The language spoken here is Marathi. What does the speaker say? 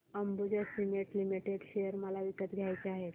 अंबुजा सीमेंट लिमिटेड शेअर मला विकत घ्यायचे आहेत